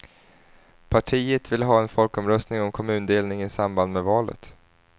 Partiet vill ha en folkomröstning om kommundelning i samband med valet.